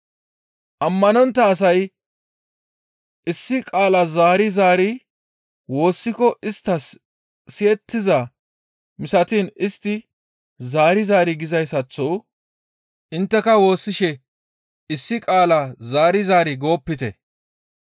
«Ammanontta asay issi qaala zaari zaari woossiko isttas siyettiza misatiin istti zaari zaari gizayssaththo intteka woossishe issi qaala zaari zaari goopite.